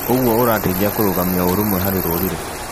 ũguo ũrateithia kũrũgamia ũrũmwe harĩ rũrĩri.